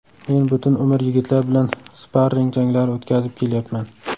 Men butun umr yigitlar bilan sparring janglari o‘tkazib kelyapman.